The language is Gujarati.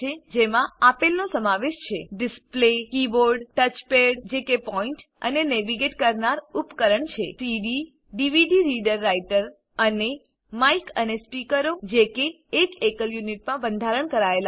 જેમાં આપેલનો સમાવેશ છે ડિસ્પ્લે કીબોર્ડ ટચપેડ જે કે પોઈન્ટ અને નેવિગેટ કરનાર ઉપકરણ છે સીડીડીવીડી રીડર રાઈટર અને માઈક અને સ્પીકરો જે કે એક એકલ યુનિટમાં બંધારણ કરાયેલા છે